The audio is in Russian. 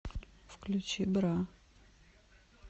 включи бра